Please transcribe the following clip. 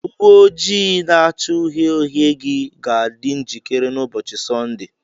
Uwe ojii na-acha uhie uhie gị ga-adị njikere n'ụbọchị Sọnde.